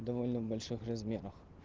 довольно больших размерах